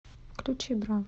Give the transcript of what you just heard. включи бра